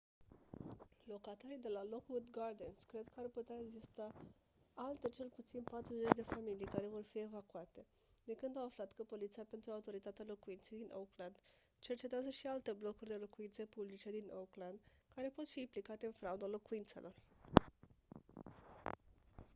locatarii de la lockwood gardens cred că ar putea exista alte cel puțin 40 de familii care vor fi evacuate de când au aflat că poliția pentru autoritatea locuinței din oakland cercetează și alte blocuri de locuințe publice din oakland care pot fi implicate în frauda locuințelor